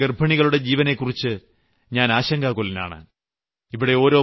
നമ്മുടെ രാജ്യത്തെ ഗർഭിണികളുടെ ജീവനെക്കുറിച്ച് ഞാൻ ആശങ്കാകുലനാണ്